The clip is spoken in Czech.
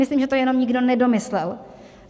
Myslím, že to jenom nikdo nedomyslel.